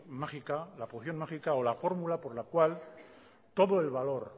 mágica la poción mágica o la fórmula por la cual todo el valor